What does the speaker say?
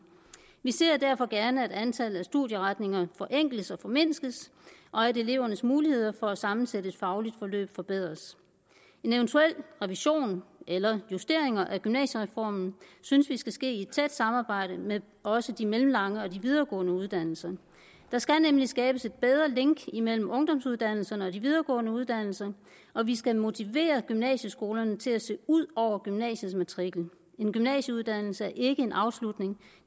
vi ser derfor gerne at antallet af studieretninger forenkles og formindskes og at elevernes muligheder for at sammensætte et fagligt forløb forbedres en eventuel revision eller justeringer af gymnasiereformen synes vi skal ske i tæt samarbejde med også de mellemlange og de videregående uddannelser der skal nemlig skabes et bedre link imellem ungdomsuddannelserne og de videregående uddannelser og vi skal motivere gymnasieskolerne til at se ud over gymnasiets matrikel en gymnasieuddannelse er ikke en afslutning